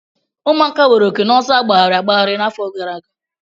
Ụmụaka nwere oke n'ọsọ agbagharị agbagharị n'afọ gara aga.